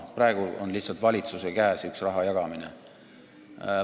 Praegu on lihtsalt valitsuse käes üks raha jagamise hoob.